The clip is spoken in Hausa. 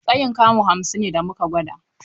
Tsayin kamu hamsin ne da muka gwada.